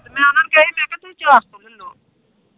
ਮੈਂ ਉਹਨਾ ਨੂੰ ਕਿਹਾ ਹੀ ਚਾਰ ਸੋ ਲੀਲੋਂ